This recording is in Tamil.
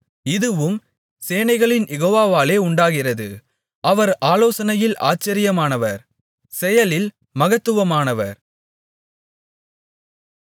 இதுவும் சேனைகளின் யெகோவாவாலே உண்டாகிறது அவர் ஆலோசனையில் ஆச்சரியமானவர் செயலில் மகத்துவமானவர்